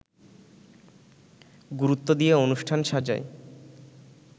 গুরুত্ব দিয়ে অনুষ্ঠান সাজায়